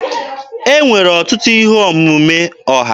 E nwere ọtụtụ ihe omume ọha.